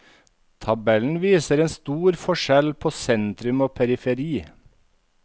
Tabellen viser en stor forskjell på sentrum og periferi.